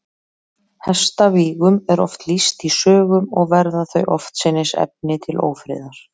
Hestavígum er oft lýst í sögum, og verða þau oftsinnis efni til ófriðar.